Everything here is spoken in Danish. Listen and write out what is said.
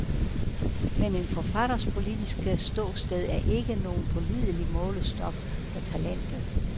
Men en forfatters politiske ståsted er ikke nogen pålidelig målestok for talentet.